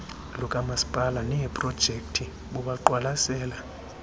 lukamasipala neeprojekthi bubaqwalasela